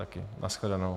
Na shledanou.